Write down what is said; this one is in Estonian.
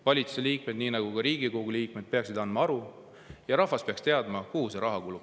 Valitsuse liikmed, nagu ka Riigikogu liikmed, peaksid nende kohta aru andma ja rahvas peaks teadma, kuhu see raha kulub.